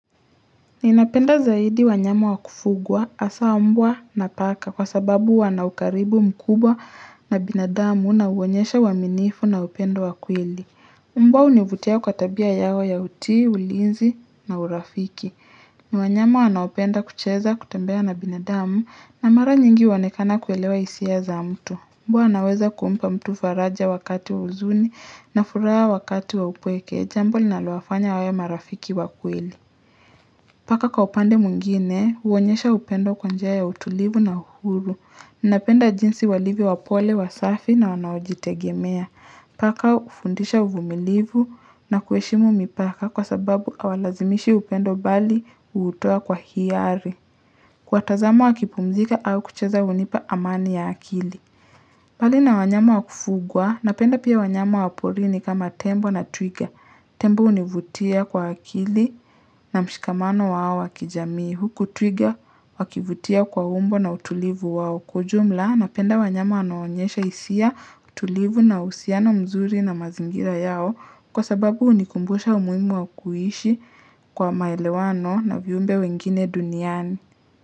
Ninapenda zaidi wanyama wakufugwa hasa mbwa na paka kwa sababu wanaukaribu mkubwa na binadamu na uonyesha uaminifu na upendo wa kweli Mbwa hunivutia kwa tabia yao ya uti, ulinzi na urafiki. Ni wanyamu wanaopenda kucheza kutembea na binadamu na mara nyingi huonekana kuelewa hisia za mtu. Mbwa anaweza kumpa mtu faraja wakati wa huzuni na furaha wakati wa upweke jambo linalowafanya wawe marafiki wa kweli. Paka kwa upande mwingine, huonyesha upendo kwa njia ya utulivu na uhuru. Ninapenda jinsi walivyo wapole, wasafi na wanaojitegemea. Paka hufundisha uvumilivu na kuheshimu mipaka kwa sababu hawalazimishi upendo bali hutoa kwa hiari. Kwa kuwatazama wakipumzika au kucheza hunipa amani ya akili. Bali na wanyama wakufugwa, napenda pia wanyama waporini kama tembo na twiga. Tembo hunivutia kwa akili na mshikamano wao wa kijamii huku twiga wakivutia kwa umbo na utulivu wao kujumla napenda wanyama wanaonyesha hisia utulivu na uhusiano mzuri na mazingira yao kwa sababu hunikumbusha umuhimu wa kuhishi kwa maelewano na viumbe wengine duniani.